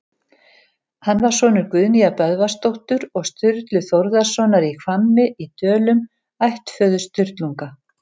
Hann var sonur Guðnýjar Böðvarsdóttur og Sturlu Þórðarsonar í Hvammi í Dölum, ættföður Sturlunga.